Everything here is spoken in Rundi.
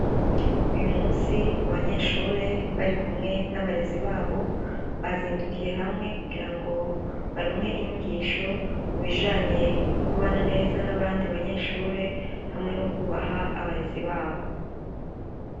Uyu musi abanyeshure barikumwe nabarezi babo bahindukiye hamwe kugira ngo baronke inyigisho kubijanye no kubana neza nabandi banyeshure hamwe no kubaha abarezi babo